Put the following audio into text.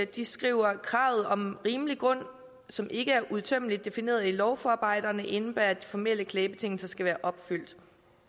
de skriver kravet om rimelig grund som ikke er udtømmende defineret i lovforarbejderne indebærer at de formelle klagebetingelser skal være opfyldt